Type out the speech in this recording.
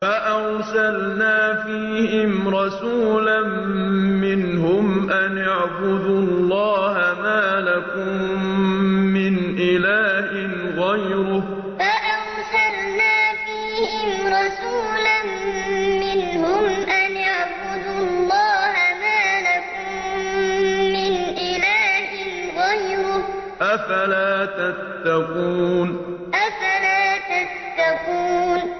فَأَرْسَلْنَا فِيهِمْ رَسُولًا مِّنْهُمْ أَنِ اعْبُدُوا اللَّهَ مَا لَكُم مِّنْ إِلَٰهٍ غَيْرُهُ ۖ أَفَلَا تَتَّقُونَ فَأَرْسَلْنَا فِيهِمْ رَسُولًا مِّنْهُمْ أَنِ اعْبُدُوا اللَّهَ مَا لَكُم مِّنْ إِلَٰهٍ غَيْرُهُ ۖ أَفَلَا تَتَّقُونَ